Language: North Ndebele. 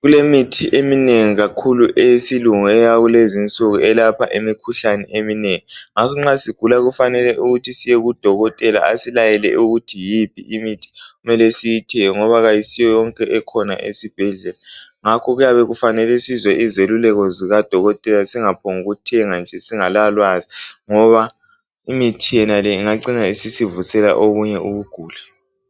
kulemithi eminengi kakhulu eyesilungu eyakulezi insuku eyelapha imikhuhlane eminengi. Ngakho nxa sigula kufanele siyekudokotela asilayele ukuthi yiphi imithi okumele siyithenge ngoba kasiyoyonke ekhona esibhedlela. Ngakho kuyabe kufanele sizwe izeluleko likadokotela singaphonguthenga singelalwazi. Ngoba imithi le ingacina isivuselela obunye ubuguli.